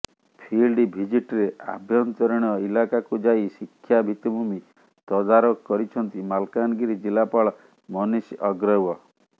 field ଭିଜିଟ୍ରେ ଆଭ୍ୟନ୍ତରୀଣ ଇଲାକାକୁ ଯାଇ ଶିକ୍ଷା ଭିତ୍ତିଭୂମି ତଦାରଖ କରିଛନ୍ତି ମାଲକାନଗିରି ଜିଲ୍ଲାପାଳ ମନୀଷ ଅଗ୍ରୱ